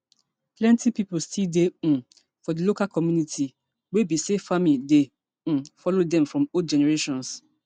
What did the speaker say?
plenti pipo still dey um for di local community wey be say farming dey um follow dem from old generations